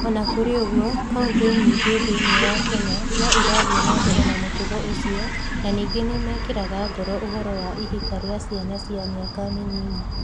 O na kũrĩ ũguo, kaunti nyingĩ thĩinĩ wa Kenya no irathiĩ na mbere na mũtugo ũcio na ningĩ nĩ mekagĩra ngoro ũhoro wa ihika rĩa ciana cia mĩaka mĩnini.